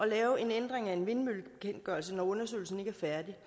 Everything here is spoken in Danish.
lave en ændring af en vindmøllebekendtgørelse når undersøgelsen ikke er færdig